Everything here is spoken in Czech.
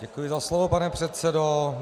Děkuji za slovo, pane předsedo.